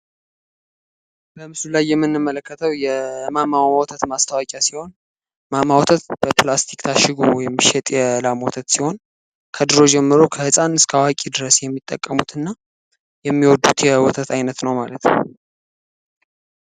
በምስሉ ላይ የምንመለከተው የማሟላት ማስታወቂያ ሲሆን በፕላስቲክ ታሽ ወይም የላም ወተት ሲሆን ከድሮ ጀምሮ ከህጻን እስታዋቂ ድረስ የሚጠቀሙትና የሚወዱት የወተት አይነት ነው ማለት ነው።